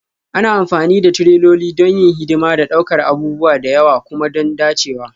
Ana amfani da tireloli don yin hidima da ɗaukar abubuwa da yawa kuma don dacewa